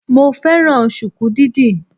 Mo fẹ́ràn sùkú dídì